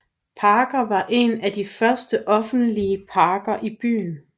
Parken var en af de første offentlige parker i byen